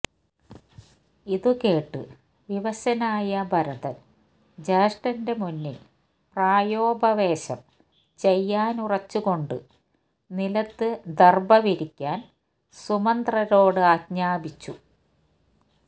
ഇതുകേട്ട് വിവശനായ ഭരതന് ജ്യേഷ്ഠന്റെ മുന്നില് പ്രായോപവേശം ചെയ്യാനുറച്ചുകൊണ്ട് നിലത്ത് ദര്ഭവിരിക്കാന് സുമന്ത്രരോടാജ്ഞാപിച്ചു